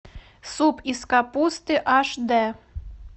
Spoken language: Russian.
суп из капусты аш д